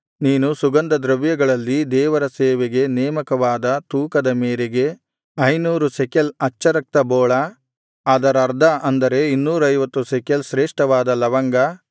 ನೀನು ಸುಗಂಧದ್ರವ್ಯಗಳಲ್ಲಿ ದೇವರ ಸೇವೆಗೆ ನೇಮಕವಾದ ತೂಕದ ಮೇರೆಗೆ ಐನೂರು ಶೆಕೆಲ್ ಅಚ್ಚರಕ್ತಬೋಳ ಅದರರ್ಧ ಅಂದರೆ ಇನ್ನೂರೈವತ್ತು ಶೆಕೆಲ್ ಶ್ರೇಷ್ಠವಾದ ಲವಂಗ